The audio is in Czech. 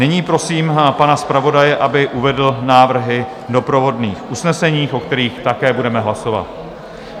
Nyní prosím pana zpravodaje, aby uvedl návrhy doprovodných usnesení, o kterých také budeme hlasovat.